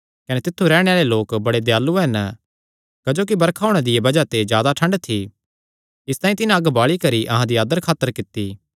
कने तित्थु रैहणे आल़े लोक बड़े दयालू हन क्जोकि बरखा होणे दिया बज़ाह ते जादा ठंड थी इसतांई तिन्हां अग्ग बाल़ी करी अहां दी आदर खातर कित्ती